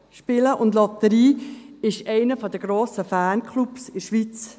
Spielen und Lotterien haben einen der grossen Fanclubs in der Schweiz.